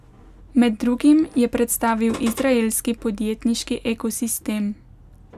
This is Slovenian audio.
Med drugim je predstavil izraelski podjetniški ekosistem.